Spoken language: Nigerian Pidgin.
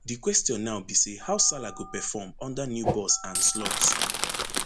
di question now be say how salah go perform under new boss arne slot